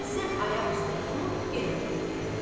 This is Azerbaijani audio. Fizzə ayaq üstə durub, yenə oturdu yerə.